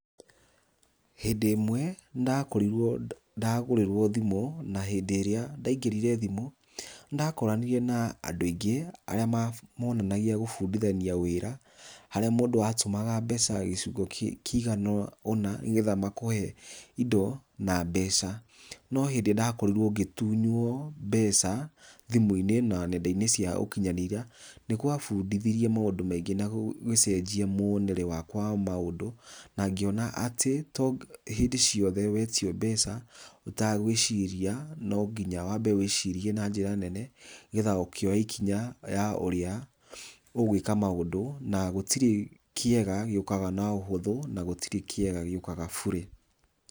Hĩndĩ imwe ndakorirwo ndagũrĩrwo thimũ na hĩndĩ ĩrĩa ndaingĩrire thimũ ndakoranire na andũ aingĩ arĩa monanagia gũbundithania wĩra harĩa mũndũ atũmaga mbeca gĩcigo kĩigana ũna nĩgetha makũhe indo na mbeca, no hĩndĩ ndakorirwo ngĩtũnywo mbeca thimũ-inĩ na nenda-inĩ cia ũkinyanĩria nĩgwabundithirie maũndũ maingĩ na gũgĩcenjia mũonere wakwa wa maũndũ na ngĩona atĩ to hĩndĩ ciothe wetio mbeca itagwĩciria nonginya wambe wĩcirie na njĩra nene nĩgetha ũkĩoya ikinya ya ũrĩa ũgwĩka maũndũ na gũtirĩ kĩega gĩũkaga na ũhũthũ na gũtirĩ kiega gĩũkaga burĩ.